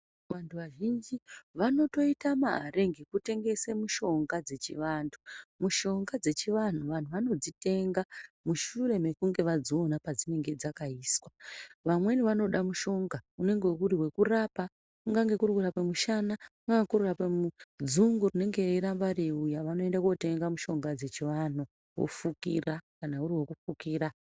Vantu vazhinji vanotoite mare ngekutengese mishonga dzechivantu. Mishaonga dzechivanhu vanu vanodzitenga mushure mekunge vadziona padzinenge dzakaiswa. Vamweni vanoda mushonga unenge uri wekurapa, kungange kuri kurapa mushana, kungange kuri kurapa dzungu ringe reiramba reiuya. Vanoenda kootenga mushonga dzechivanhu vofukira kana uri wekufukira